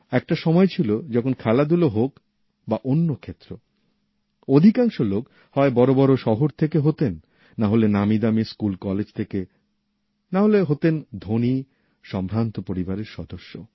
একটা সময় ছিল যখন খেলাধুলা হোক বা অন্য ক্ষেত্র অধিকাংশ লোক হয় বড় বড় শহর থেকে হতেন নাহলে নামিদামি স্কুল কলেজ থেকে নাহলে হতেন ধণী সম্ভ্রান্ত পরিবারের সদস্য